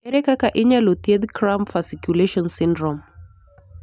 Ere kaka inyalo thiedh cramp fasciculation syndrome?